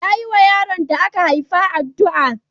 Ya yiwa yaron da aka haifa addu'a.